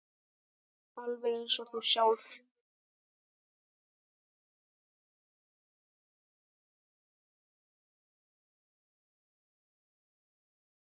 Alveg eins og þú sjálf.